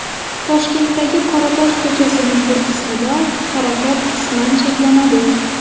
Toshkentdagi Qoratosh ko‘chasining bir qismida harakat qisman cheklanadi.